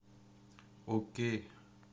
окей